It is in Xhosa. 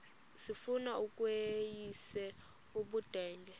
sifuna ukweyis ubudenge